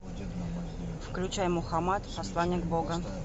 включай мухаммад посланник бога